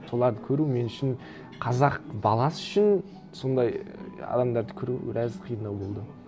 соларды көру мен үшін қазақ баласы үшін сондай ііі адамдарды көру біраз қиындау болды